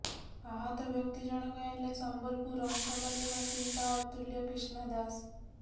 ଆହତ ବ୍ୟକ୍ତି ଜଣକ ହେଲେ ସମ୍ବଲପୁର ଅଇଁଠାପାଲ୍ଲୀ ବାସିନ୍ଦା ଅତୁଲ୍ୟ କ୍ରିଷ୍ଣା ଦାସ୍